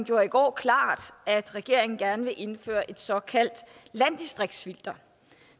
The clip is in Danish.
gjorde i går klart at regeringen gerne vil indføre et såkaldt landdistriktsfilter